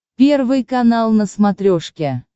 первый канал на смотрешке